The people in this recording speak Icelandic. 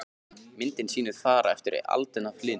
Myndin sýnir far eftir aldin af hlyni.